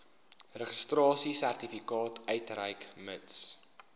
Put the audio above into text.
registrasiesertifikaat uitreik mits